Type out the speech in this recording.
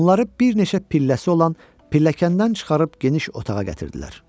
Onları bir neçə pilləsi olan pilləkəndən çıxarıb geniş otağa gətirdilər.